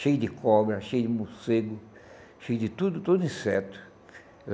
Cheio de cobra, cheio de morcego, cheio de tudo, todo inseto.